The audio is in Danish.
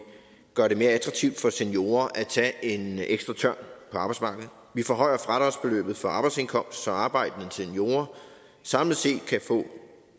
gør det mere attraktivt for seniorer at tage en ekstra tørn på arbejdsmarkedet vi forhøjer fradragsbeløbet for arbejdsindkomst så arbejdende seniorer samlet set kan få